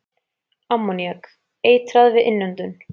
Ammoníak- Eitrað við innöndun.